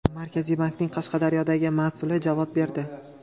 Markaziy bankning Qashqadaryodagi mas’uli javob berdi.